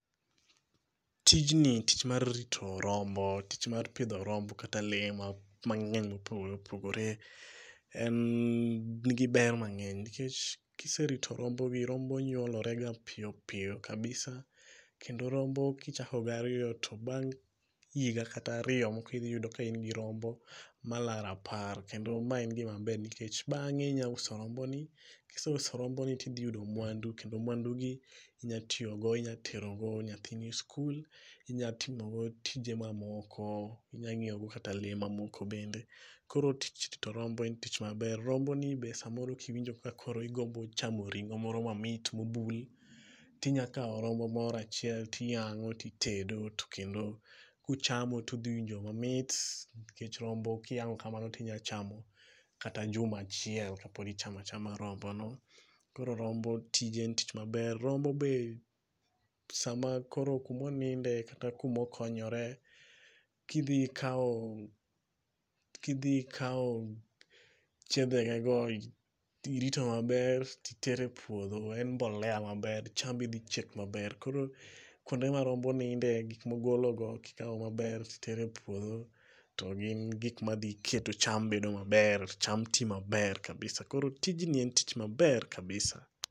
Tijni tich mar rito rombo, tich mar pidho rombo kata pidho lee mangeny mopogore opogore, en, nigi ber mangeny nikech kiserito rombo gi, rombo nyuolore ga piyo piyo kabisa kendo rombo kichako gi ariyo to bang' higa kata ariyo tibo yudo kain gi rombo malaro apar kendo ma en gima ber nikech bang'e inya uso rombo ni, kiseuso romboni tinya yudo mwandu, kendo mwandu gi inya tiyo go inya terogo nyathini e skul, inya timogo tije mamoko, inya nyiew go kata lee mamoko bende. Koro tich rito rombo en tich maber. Rombo ni be samoro kiwinjo ka koro idwa chamo ring'o moro mamit mobul, tinya kao rombo moro achiel tiyango titedo to kendo kuchamo tudhi winjo mamit nikech rombo kiyango kamano tinya chamo kata juma achiel kapod ichamo achama rombo no.Koro rombo tije en tich maber nikech. Rombo be sama koro kuma oninde kata kuma okonyore, kidhi ikao, kidhi ikao chiedhe gego tirito maber titero e puodho en mbolea maber, chambi dhi chiek maber. Koro kuonde ma rombo ninde, gik mogolo go kitero e puodho to gin gik madhi keto cham bedo maber, cham tii maber kabisa. Koro tijni en tich maber kabisa